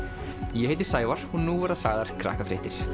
ég heiti Sævar og nú verða sagðar Krakkafréttir